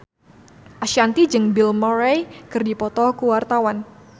Ashanti jeung Bill Murray keur dipoto ku wartawan